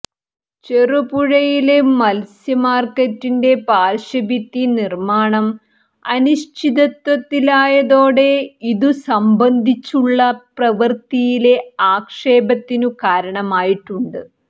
ചെറുപുഴയില് മത്സ്യമാര്ക്കറ്റിന്റെ പാര്ശ്വഭിത്തി നിര്മ്മാണം അനിശ്ചിതത്വത്തിലായതോടെ ഇതു സംബന്ധിച്ചുള്ള പ്രവൃത്തിയിലെ ആക്ഷേപത്തിന് കാരണമായിട്ടുണ്ട്